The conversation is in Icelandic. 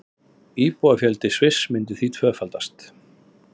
Íbúafjöldi Sviss myndi því tvöfaldast